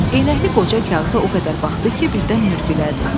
Eynəkli qoca kağıza o qədər baxdı ki, birdən mürgülədi.